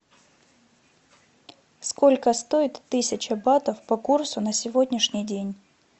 сколько стоит тысяча батов по курсу на сегодняшний день